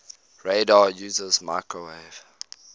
radar uses microwave